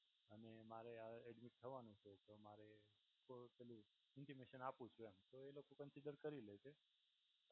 અને મારે હવે એડમિટ થવાંનું છે તો મારે તો પેલું ઇન્ટિમેશન આપું છું એમ તો એ લોકો કન્સિડર કરી લેશે.